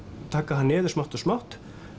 taka það niður smátt og smátt